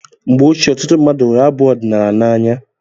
Mgbe ochie, ọtụtụ mmadụ hụrụ abụ ọdinaala n'anya